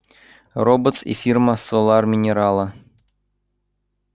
роботс и фирма солар минерала